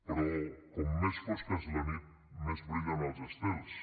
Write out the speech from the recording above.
però com més fosca és la nit més brillen els estels